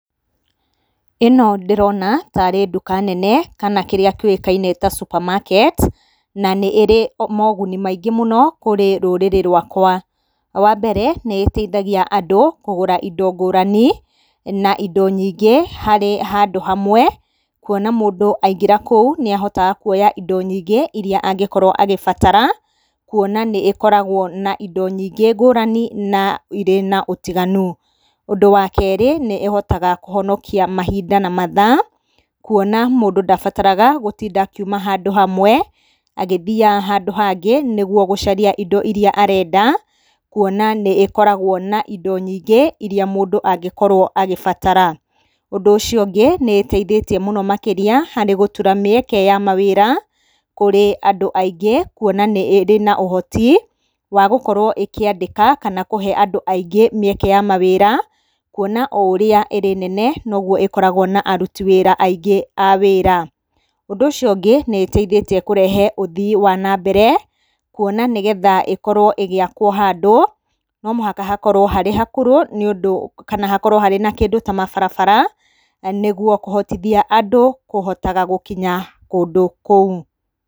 Ĩno ndĩrona tarĩ ndũka nene kana kĩrĩa kĩũkaine ta supermarket, na nĩ ĩrĩ moguni maingĩ mũno kũrĩ rũrĩrĩ rwakwa. Wa mbere nĩ ĩteithagia andũ kũgũra indo ngũrani na indo nyingĩ harĩ handũ hamwe, kuona mũndũ aingĩra kũu nĩ ahotaga kuoya indo nyingĩ iria angĩkorwo agĩbatara kuona nĩ ĩkoragwo na indo nyingĩ ngũrani na irĩ na ũtiganu. Ũndũ wa keerĩ nĩ ĩhotaga kũhonokia mahinda na mathaa kuona mũndũ ndabataraga gũtinda akiuma handũ hamwe agĩthiaga handũ hangĩ nĩguo gũcaria indo iria arenda kuona nĩ ĩkoragwo na indo nyingĩ iria mũndũ angĩkorwo agĩbatara. Ũndũ ũcio ũngĩ nĩ ĩteithĩtie mũno makĩria hari gũtura mĩeke ya mawĩra kũrĩ andũ aingĩ kuona nĩ ĩrĩ na ũhoti wa gũkorwo ĩkĩandĩka kana kũhe andũ aingĩ mĩeke ya mawĩra, kuona o ũrĩa ĩrĩ nene noguo ĩkoragwo na aruti wĩra aingĩ a wĩra. Ũndũ ũcio ũngĩ nĩ ĩteithĩtie kũrehe ũthii wa na mbere kuona nĩgetha ĩkorwo ĩgĩakwo handũ no mũhaka hakorwo harĩ hakũrũ nĩũndũ kana hakorwo harĩ na kĩndũ ta mabarabara nĩguo kũhotithia andũ kũhotaga gũkinyaga kũndũ kũu.